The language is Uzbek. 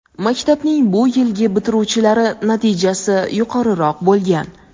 maktabning bu yilgi bitiruvchilari natijasi yuqoriroq bo‘lgan.